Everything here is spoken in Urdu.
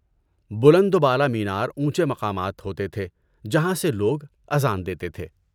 بلند و بالا مینار اونچے مقامات ہوتے تھے جہاں سے لوگ اذان دیتے تھے۔